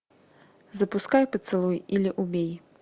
запускай поцелуй или убей